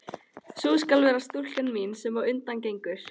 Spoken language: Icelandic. Sú skal vera stúlkan mín, sem á undan gengur.